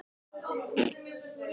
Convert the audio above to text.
Hvort þau vildu ekki koma með?